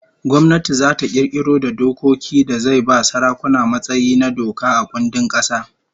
Gwamnati zata kirkiro da dokoki da zai ba sarakuna matsayi na doka a kundin kasa